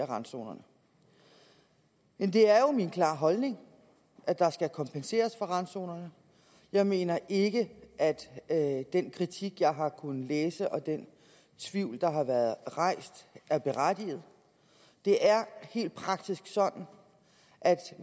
randzonerne men det er jo min klare holdning at der skal kompenseres for randzonerne jeg mener ikke at den kritik jeg har kunnet læse og den tvivl der har været rejst er berettiget det er helt praktisk sådan at